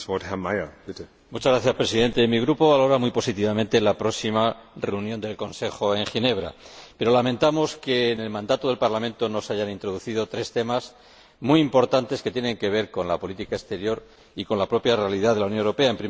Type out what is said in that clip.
Señor Presidente, mi Grupo valora muy positivamente la próxima reunión del Consejo en Ginebra, pero lamentamos que en el mandato del Parlamento no se hayan introducido tres temas, muy importantes, que tienen que ver con la política exterior y con la propia realidad de la Unión Europea.